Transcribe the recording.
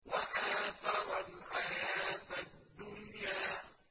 وَآثَرَ الْحَيَاةَ الدُّنْيَا